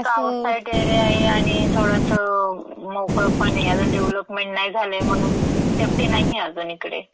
Outside area ये आणि थोडसं मोकळंपण ये. अजून डेवलपमेंट नाही झालंय म्हणून सेफ्टी नाहीये अजुन इकडे.